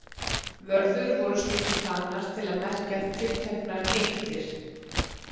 Vörður voru stundum hlaðnar til að merkja tilteknar eyktir.